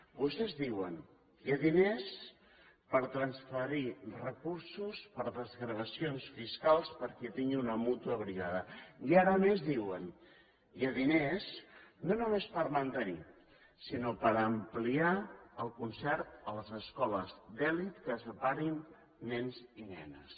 vostès diuen que hi ha diners per transferir recursos per a desgravacions fiscals per a qui tingui una mútua privada i ara a més diuen hi ha diners no només per mantenir sinó per ampliar el concert a les escoles d’elit que separin nens i nenes